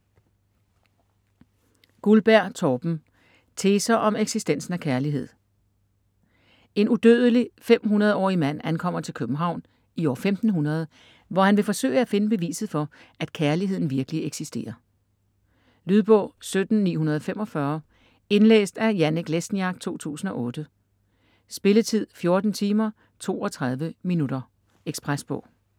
Guldberg, Torben: Teser om eksistensen af kærlighed En udødelig 500-årig mand ankommer til København i år 1500, hvor han vil forsøge at finde beviset for, at kærligheden virkelig eksisterer. Lydbog 17945 Indlæst af Janek Lesniak, 2008. Spilletid: 14 timer, 32 minutter. Ekspresbog